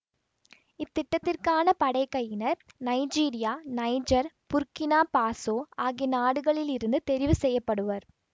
இத்திட்டத்திற்கான படைகையினர் Nigeria Niger Burkina Faso ஆகிய நாடுகளில் இருந்து தெரிவு செய்ய படுவர்